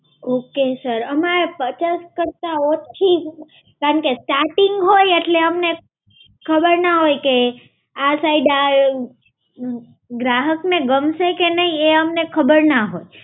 Okay sir. અમાર પચાસ કરતા ઓછી, કારણ કે starting હોય અટલે અમને ખબર ના હોય કે આ side આ ગ્રાહકને ગમશે કે નહીં એ અમને ખબર ના હોય.